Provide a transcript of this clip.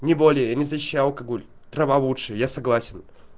не более не защищаю алкоголь трава лучше я согласен